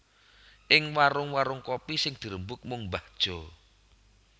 Ing warung warung kopi sing dirembug mung mbah Jo